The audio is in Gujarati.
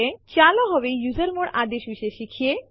ચાલો હવે યુઝરમોડ આદેશ વિશે શીખીએ